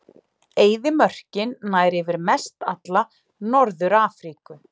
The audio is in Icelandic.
Eyðimörkin nær yfir mestalla Norður-Afríku.